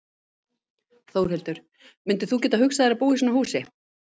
Þórhildur: Myndir þú geta hugsað þér að búa í svona húsi?